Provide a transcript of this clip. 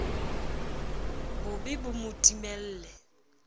bo be bo mo timelle